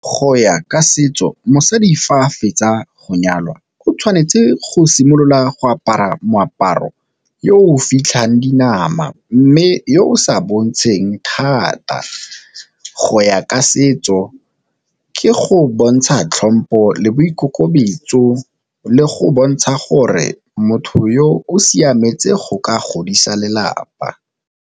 Go ya ka setso mosadi fa a fetsa go nyalwa o tshwanetse go simolola go apara moaparo yo o fitlhang dinama, mme yo o sa bontshaneng thata. Go ya ka setso ke go bontsha tlhompo le boikokobetso le go bontsha gore motho yo o siametse go ka godisa lelapa.